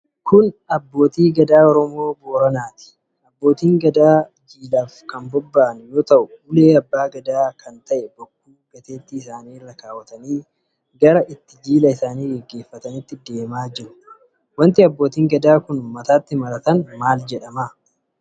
Kun Abbootii Gadaa Oromoo Boranaati. Abbootiin Gadaa kun jilaaf kan bobba'an yoo ta'u ulee Abbaa Gadaa kan ta'e Bokkuu gateettii isaanii irra kaawwatanii gara itti jila isaanii gaggeeffatanii deemaa jiru. Wanti Abbootiin Gadaa kun mataatti maratan maal jedhama?